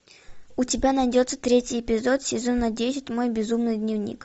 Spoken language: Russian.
у тебя найдется третий эпизод сезона десять мой безумный дневник